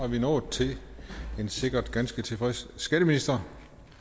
vi nået til en sikkert ganske tilfreds skatteminister